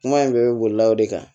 Kuma in bɛɛ bɛ bolilaw de kan